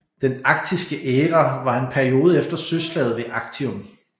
Den Actiske æra var en periode efter Søslaget ved Actium